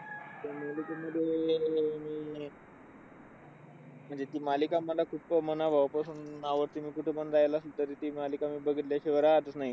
मग ते . म्हणजे ती मालिका मला खूप अह मनाभावापासून आवडते. मी कुठं पण रहायला असो तरी ती मालिका मी बघितल्या शिवाय राहतच नाही.